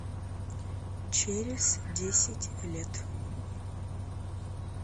через десять лет